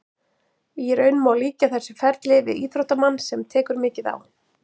Í raun má líkja þessu ferli við íþróttamann sem tekur mikið á.